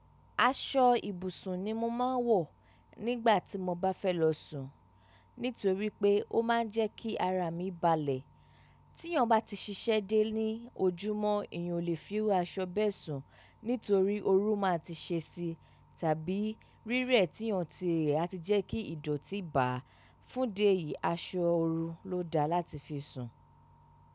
Aṣọ ibùsùn ni mo máa ń wọ̀ nígbà tí mo bá fẹ́ lọ sùn, nítorí pé ó máa ń jẹ́ kí ara mi balẹ̀. Tíyàn bá ti ṣiṣẹ́ dé ní ojúmọ́, èèyàn ò lè fi aṣọ bẹ́ẹ̀ sùn, nítorí ooru máa ti ṣe sí i, tàbí rírẹ̀ tí èèyàn ti rẹ̀ á ti jẹ́ kí ìdọ̀tí bà á. Fúndìí èyí, aṣọ oru ló dáa láti fi sùn.